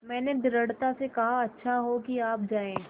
मैंने दृढ़ता से कहा अच्छा हो कि अब आप जाएँ